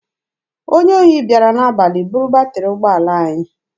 Onye ohi bịara n'abalị buru batịrị ụgbọala anyị.